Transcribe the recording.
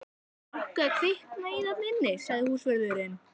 Er nokkuð að kvikna í þarna inni? sagði húsvörðurinn.